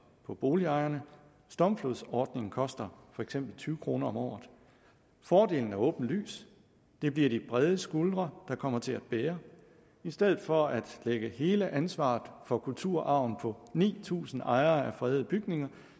for boligejerne stormflodsordningen koster for eksempel tyve kroner om året fordelen er åbenlys det bliver de bredeste skuldre der kommer til at bære i stedet for at lægge hele ansvaret for kulturarven på ni tusind ejere af fredede bygninger